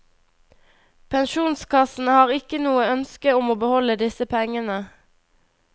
Pensjonskassene har ikke noe ønske om å beholde disse pengene.